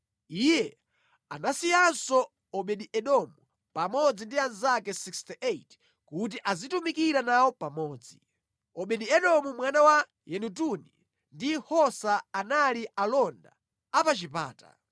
Iye anasiyanso Obedi-Edomu pamodzi ndi anzake 68 kuti azitumikira nawo pamodzi. Obedi-Edomu mwana wa Yedutuni ndi Hosa anali alonda a pa chipata.